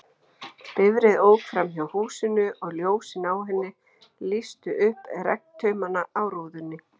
Bifreið ók framhjá húsinu, og ljósin á henni lýstu upp regntaumana á rúðunni.